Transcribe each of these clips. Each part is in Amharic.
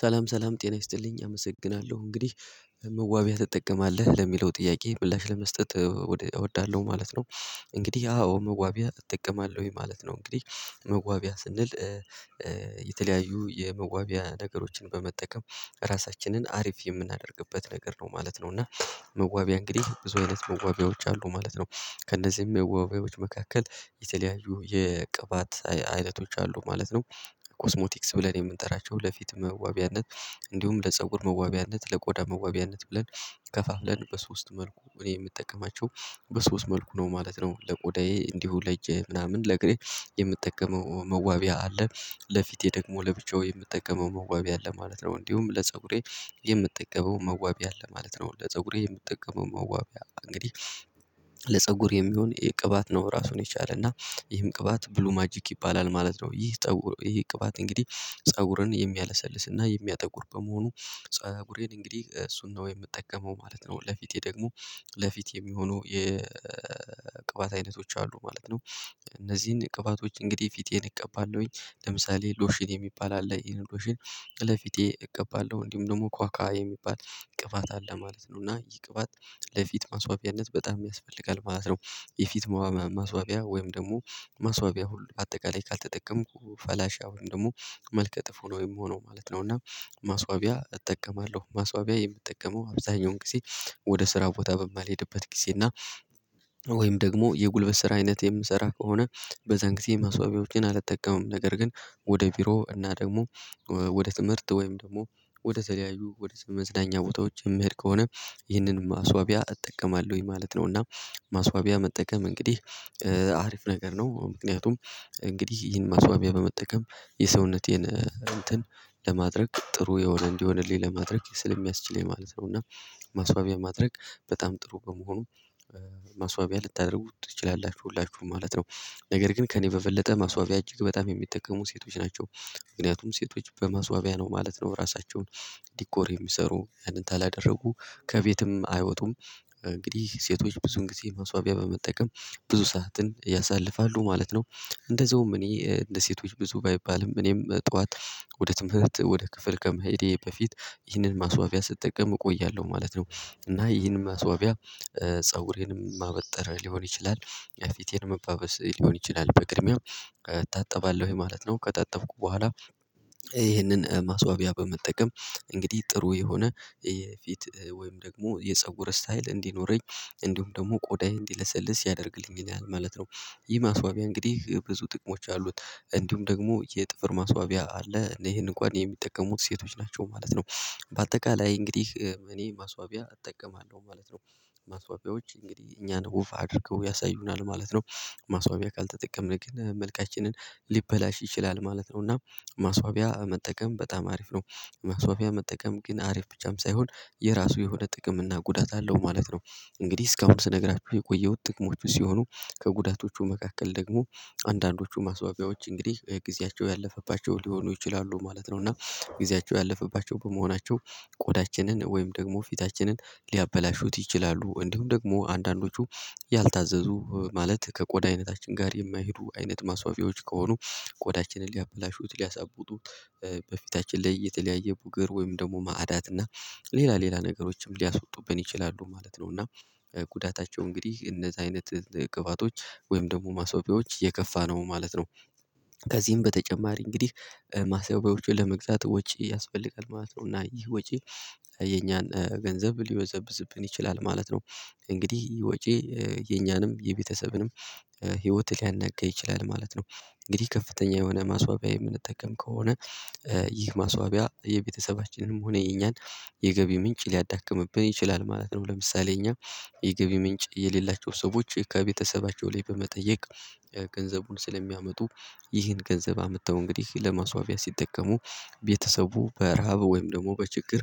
ሰላም ሰላም ጤና ይስጥልኝ አመሰግናለሁ እንግዲህ መዋቢያ ትጠቀማለህ ለሚለው ጥያቄ ምላሽ ለመስጠት እወዳለሁ ማለት ነው። እንግዲህ አዎ መዋቢያ እጠቀማለሁ ማለት ነው። እንግዲህ መዋቢያ ስንል የተለያዩ የመዋቢያ ነገሮችን በመጠቀም ራሳችንን አሪፍ የምናደርግበት ነገር ነው ማለት ነው። እና መዋቢያ እንግዲህ ብዙ አይነት መዋቢያዎች አሉ ማለት ነው። ከእነዚህም መዋቢያዎች መካከል የተለያዩ የቅባት አይነቶች አሉ ማለት ነው። ኮስሞቲክስ ብለን የምንጠራቸው ለፊት መዋቢያነት እንዲሁም ለፀጉር መዋቢያነት ለቆዳ መዋቢያነት ብለን ከፋፍለን በሶስት መልኩ እኔ የምጠቀማቸው በሶስት መልኩ ነው ማለት ነው። ለቆዳዬ እንዲሁ ለእጄ ምናምን ለእግሬ የምጠቀመው መዋቢያ አለ ለፊቴ ደግሞ ለብቻው የምጠቀመው መዋቢያ አለ ማለት ነው። እንዲሁም ለፀጉሬ የምጠቀመው መዋቢያ አለ ማለት ነው። ለፀጉሬ የምጠቀመው መዋቢያ እንግዲህ ለፀጉር የሚሆን የቅባት ነው ራሱን የቻለ እና ይህም ቅባት ብሉ ማጂክ ይባላል ማለት ነው። ይህ ጠውር ይሄ ቅባት እንግዲህ ፀጉርን የሚያለሰልስና የሚያጠጉር በመሆኑ ፀጉሬን እንግዲህ እሱን ነው የምጠቀመው ማለት ነው። ለፊቴ ደግሞ ለፊቴ የሚሆኑ የቅባት አይነቶች አሉ ማለት ነው። እነዚህን ቅባቶች እንግዲህ ፊቴን እቀባለሁኝ ለምሳሌ ሎሽን የሚባል አለ። ይሄን ሎሽን ለፊቴ እቀባለሁ እንዲሁም ደግሞ ኳኳ የሚባል ቅበት አለ ማለት ነው። እና ይህ ቅባት ለፊት ማስዋቢያነት በጣም ያስፈልጋል ማለት ነው። የፊት ማስዋቢያ ወይም ደግሞ ማስዋቢያ ሁሉ አጠቃላይ ካልተጠቀምኩ ፈላሻ ወይም ደግሞ መልከ ጥፉ ነው ወይም ሆኖ ማለት ነው። እና ማስዋቢያ እጠቀማለሁ ማስዋቢያ የምጠቀመው አብዛኛውን ጊዜ ወደ ስራ ቦታ በማልሄድበት ጊዜ እና ወይም ደግሞ የጉልበት ስራ አይነት የምሰራ ከሆነ። በዛን ጊዜ ማስዋብያዎችን አልተጠቀሙም ነገር ግን ወደ ቢሮ እና ደግሞ ወደ ትምህርት ወይም ደግሞ ወደ ተለያዩ ወደ መዝናኛ ቦታዎች የምሄድ ከሆነ ይህንን ማስዋቢያ እጠቀማለሁኝ ማለት ነው። እና ማስዋቢያ መጠቀም እንግዲህ አሪፍ ነገር ነው። ምክንያቱም እንግዲህ ይህን ማስዋሚያ በመጠቀም የሰውነቴን እንትን ለማድረግ ጥሩ የሆነ እንዲሆንልኝ ለማድረግ ስለሚያስችለኝ ማለት ነው። እና ማስዋቢያ ማድረግ በጣም ጥሩ በመሆኑ ማስዋቢያ ልታደርጉት ትችላላችሁ ሁላችሁም ማለት ነው። ነገር ግን ከእኔ በበለጠ ማስዋቢያ እጅግ በጣም የሚጠቀሙ ሴቶች ናቸው። ምክንያቱም ሴቶች በመስዋቢያ ነው ማለት ነው ራሳቸውን ዲኮር የሚሰሩ ያንን ካላደረጉ ከቤትም አይወጡም እንግዲህ ሴቶች ብዙ ጊዜ መስዋቢያ በመጠቀም ብዙ ሰዓትን ያሳልፋሉ ማለት ነው። እንደዛውም እኔ እንደ ሴቶች ብዙ ባይባልም እኔም ጠዋት ወደ ትምህርት ወደ ክፍል ከመሄዴ በፊት ይህንን ማስዋቢያ ስጠቀም እቆያለሁ ማለት ነው። እና ይህንን ማስዋቢያ ፀጉሬንም ማበጠርያ ሊሆን ይችላል። ፊቴን መባበስ ሊሆን ይችላል በቅድሚያ እታጠባለሁ ማለት ነው ከታጠብኩ በኋላ ይህንን ማስዋቢያ በመጠቀም እንግዲህ ጥሩ የሆነ የፊት ወይም ደግሞ የፀጉር ስታይል እንዲኖረኝ እንዲሁም ደግሞ ቆዳዬ እንዲለሰልስ ያደርግልኝ ማለት ነው። ይህ ማስዋቢያ እንግዲህ ብዙ ጥቅሞች አሉት። እንዲሁም ደግሞ የጥፍር ማስዋቢያ አለ ይሄንን እንኳን የሚጠቀሙት ሴቶች ናቸው ማለት ነው። በአጠቃላይ እንግዲህ እኔ ማስዋቢያ አጠቀማለሁ ማለት ነው። ማስዋቢያዎች እንግዲህ እኛን ውብ አድርገው ያሳዩናል ማለት ነው። ማስዋቢያ ካልተጠቀምን መልካችንን ሊበላሽ ይችላል ማለት ነው እና ማስዋቢያ መጠቀም በጣም አሪፍ ነው። ማስዋቢያ መጠቀም ግን አሪፍ ብቻም ሳይሆን የራሱ የሆነ ጥቅም እና ጉዳት አለው ማለት ነው። እንግዲህ እስካሁን ስነግራችሁ የቆየሁት ጥቅሞች ሲሆኑ ከጉዳቶቹ መካከል ደግሞ አንዳንዶቹ ማስዋቢያዎች እንግዲህ ጊዜያቸው ያለፈባቸው ሊሆኑ ይችላሉ ማለት ነው። እና ጊዜያቸው ያለፈባቸው በመሆናቸው ቆዳችንን ወይም ደግሞ ፊታችንን ሊያበላሹት ይችላሉ። እንዲሁም ደግሞ አንዳንዶቹ ያልታዘዙ ማለት ከቆዳ አይነታችን ጋር የማይሄዱ አይነት ማስዋቢያዎች ከሆኑ ቆዳችንን ሊያበላሹት ሊያሳብቱት በፊታችን ላይ የተለያየ ቡገር ወይም ደግሞ ማዕዳት እና ሌላ ሌላ ነገሮችም ሊያስወጡብን ይችላሉ ማለት ነው። እና ጉዳታቸው እንግዲህ እነዚህ አይነት ግባቶች ወይም ደግሞ ማስዋቢያዎች የከፋ ነው ማለት ነው። ከዚህም በተጨማሪ እንግዲህ ማሰዋቢያዎቹ ለመግዛት ወጪ ያስፈልጋል ማለት ነው። እና ይህ ወጪ የኛን ገንዘብ ሊበዘብዝብን ይችላል ማለት ነው። እንግዲህ ወጪ የኛንም የቤተሰብንም ህይወት ሊያነጋ ይችላል ማለት ነው። እንግዲህ ከፍተኛ የሆነ ማስዋቢያ የምንጠቀም ከሆነ ይህ ማስዋቢያ የቤተሰባችንንም ሆነ የኛን የገቢ ምንጭ ሊያዳክምብን ይችላል ማለት ነው። ለምሳሌ እኛ የገብ ምንጭ የሌላቸው ሰዎች ከቤተሰባቸው ላይ በመጠየቅ ገንዘቡን ስለሚያመጡ ይህን ገንዘብ አምጥተው እንግዲህ ለመስዋቢያ ሲጠቀሙ ቤተሰቡ በረሃብ ወይም ደግሞ በችግር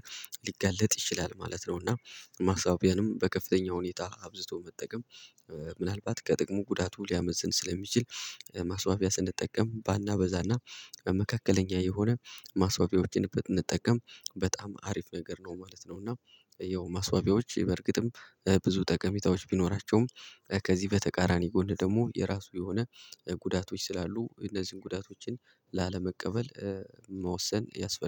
ሊጋለጥ ይችላል ማለት ነው። እና ማሳቢያንም በከፍተኛ ሁኔታ አብዝቶ መጠቀም ምናልባት ከጥቅሙ ጉዳቱ ሊያመዝን ስለሚችል ማስዋቢያ ስንጠቀም ባናበዛና በመካከለኛ የሆነ ማስዋቢያዎችን ብንጠቀም በጣም አሪፍ ነገር ነው ማለት ነው። እና ያው ማስዋቢያዎች በእርግጥም ብዙ ጠቀሜታዎች ቢኖራቸውም ከዚህ በተቃራኒ ጎን ደግሞ የራሱ የሆነ ጉዳቶች ስላሉ እነዚህን ጉዳቶችን ላለመቀበል መወሰን ያስፈልጋል